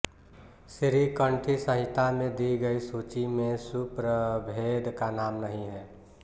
श्रीकंठी संहिता में दी गई सूची में सुप्रभेद का नाम नहीं है